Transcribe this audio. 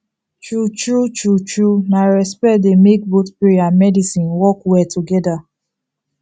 true true true true na respect dey make both prayer and medicine work well together